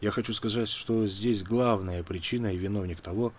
я хочу сказать что здесь главное причиной и виновник того